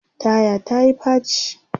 taya ta Yi faci